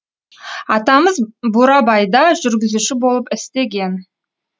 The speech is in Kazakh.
атамыз бурабайда жүргізуші болып істеген